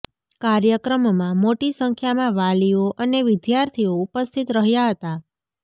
કાર્યક્રમમાં મોટી સંખ્યામાં વાલીઓ અને વિદ્યાર્થીઓ ઉપસ્થિત રહ્યા હતા